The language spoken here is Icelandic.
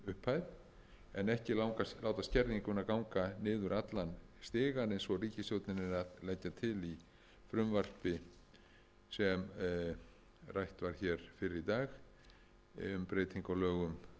upphæð en ekki láta skerðinguna ganga niður allan stigann eins og ríkisstjórnin er að leggja til í frumvarpi sem rætt var hér fyrr í dag um breytingu á lögum